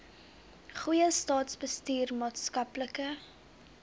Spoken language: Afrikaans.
goeie staatsbestuur maatskaplike